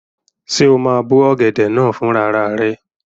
Ṣé o máa bó ọ̀gẹ̀dẹ̀ náà fún rara rẹ?